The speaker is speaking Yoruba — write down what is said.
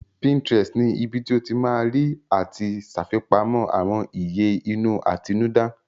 Pinterest ni ibi tí o ti ma rí àti ṣàfipamọ́ àwọn ìyè inú àtinúdá